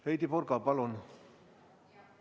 Heidy Purga, palun!